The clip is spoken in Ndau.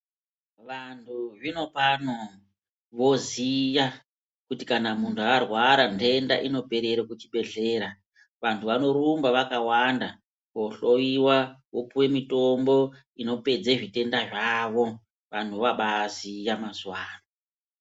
Vantu zvinopano voziya kuti kana muntu arwara ntenda inobaperera kuzvibhedhleya vantu vanorumba vakawanda kohloyiwa vopuwe mitombo inobapedza ntenda dzavo vantu vobaziya mazuva ano.